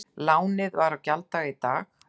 Lánið var á gjalddaga í dag